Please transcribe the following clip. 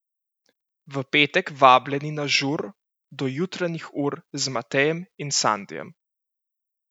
V petek vabljeni na žur do jutranjih ur z Matejem in Sandijem!